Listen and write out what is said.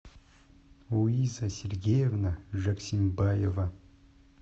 луиза сергеевна жаксимбаева